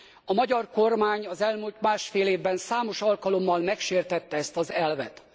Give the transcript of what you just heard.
A magyar kormány az elmúlt másfél évben számos alkalommal megsértette ezt az elvet.